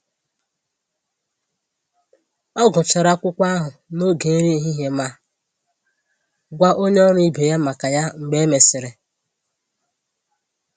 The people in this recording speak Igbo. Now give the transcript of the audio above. Ọ gụchara akwụkwọ ahụ n'oge nri ehihie ma gwa onye ọrụ ibe ya maka ya mgbe e mesịrị